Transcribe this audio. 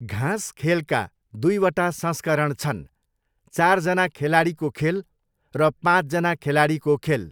घाँस खेलका दुईवटा संस्करण छन्, चारजना खेलाडीको खेल र पाँचजना खेलाडीको खेल।